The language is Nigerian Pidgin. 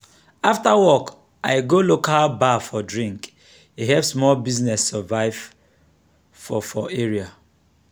after work i go local bar for drink e help small business survive for for area.